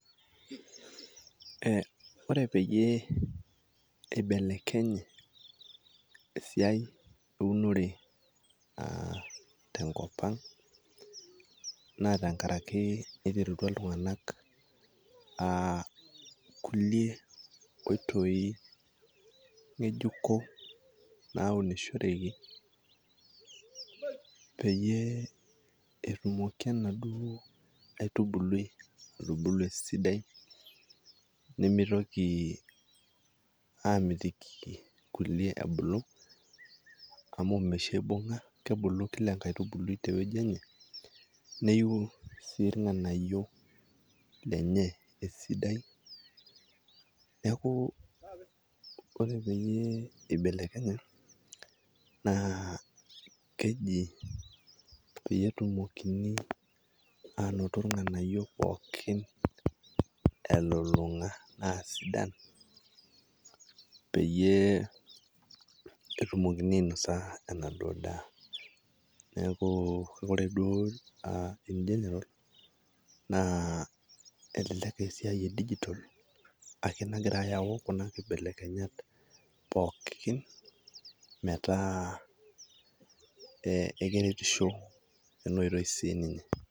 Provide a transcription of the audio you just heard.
Ore peyie eibelekenye esiaai eunore tenkopang naa tengaraki eiterutwa ltunganak kule oitoi ng'ejuko naunishoreki peyie etumoki enaduo aitubulu esidai nemeitoki aamitiki kulie ebulu amu meisho eibung'a, kebulu kila inkaitbulu te weji enye neiuu sii lnganayo lenye esidai, neaku ore peyie eibelekenye naa keji peyir etumokini aanotp lng'anayo pookin elulung'a aasidan peyie etumokini ainosa enado daaneaku kore duo ingeneral naa elelek esiaai e dugital ashu nagira aayau kuna kibelekenyat pookin metaa ekeretisho eneoitoi si ninye.